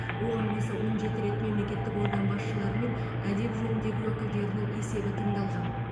оған қоса он жеті рет мемлекеттік орган басшылары мен әдеп жөніндегі уәкілдерінің есебі тыңдалған